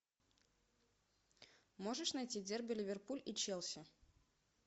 можешь найти дерби ливерпуль и челси